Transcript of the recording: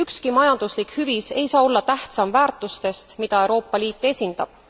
Ükski majanduslik hüvis ei saa olla tähtsam väärtustest, mida Euroopa Liit esindab.